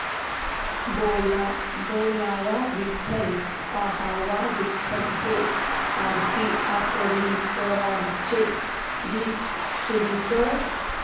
बोलावा विठ्ठल पहावा विठ्ठल हे आरती अंकलीकरांचे गीत सुरू कर